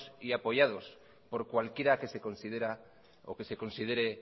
y apoyados por cualquiera que se considere